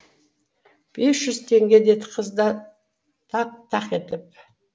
бес жүз теңге деді қыз да тақ тақ етіп